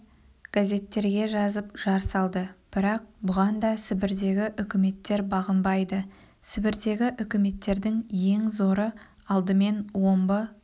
газеттерге жазып жар салды бірақ бұған да сібірдегі үкіметтер бағынбады сібірдегі үкіметтердің ең зоры алдымен омбы